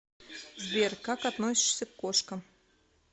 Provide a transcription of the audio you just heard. сбер как относишься к кошкам